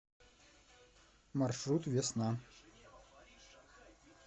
маршрут весна